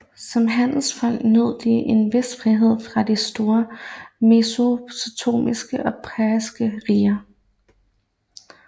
Som handelsfolk nød de en vis frihed fra de store mesopotamiske og persiske riger